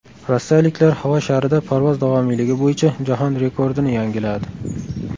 Rossiyaliklar havo sharida parvoz davomiyligi bo‘yicha jahon rekordini yangiladi.